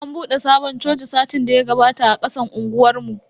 An bude sabon coci satin daya gabata a kasan unguwar mu.